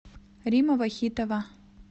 римма вахитова